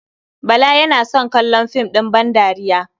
Bala yana son kallon fim ɗin bandariya.